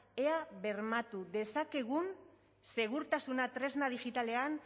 ea bermatu dezakegun segurtasuna tresna digitalean